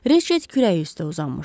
Riçet kürəyi üstə uzanmışdı.